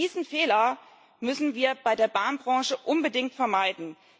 Diesen Fehler müssen wir bei der Bahnbranche unbedingt vermeiden.